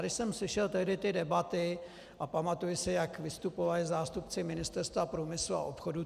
Když jsem slyšel tehdy ty debaty - a pamatuji si, jak vystupovali zástupci Ministerstva průmyslu a obchodu.